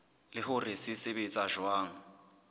le hore se sebetsa jwang